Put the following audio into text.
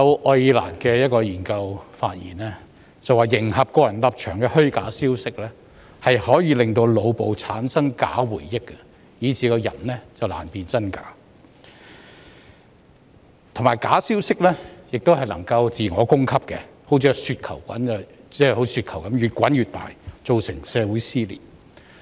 愛爾蘭一項研究發現，迎合個人立場的虛假消息可以令腦部產生假回憶，令人難辨真假，而假消息也可以自我供給，像雪球般越滾越大，造成社會撕裂。